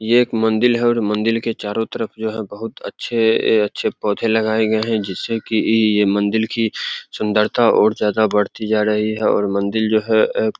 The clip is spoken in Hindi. ये एक मंदील है और मंदील के चारों तरफ जो है बहुत अच्छे अच्छे पोधे लगाए गए हैं जिससे की इ ये मंदील की सुन्दरता और ज्यादा बढ़ती जा रही है और मंदील जो है ए --